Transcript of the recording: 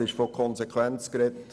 Es wurde von Konsequenz gesprochen.